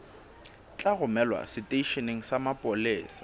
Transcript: tla romelwa seteisheneng sa mapolesa